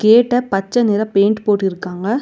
கேட்ட பச்ச நிற பெயிண்ட் போட்டிருக்காங்க.